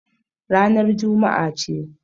Ranar Juma'a ce.